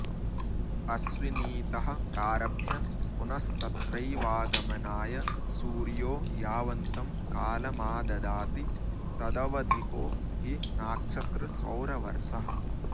अश्विनीतः प्रारभ्य पुनस्तत्रैवागमनाय सूर्यो यावन्तं कालमाददाति तदवधिको हि नाक्षत्रसौरवर्षः